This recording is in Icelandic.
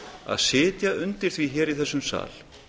að sitja undir því hér í þessum sal